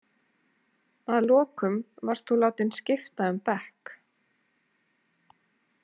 Að lokum varst þú látinn skipta um bekk.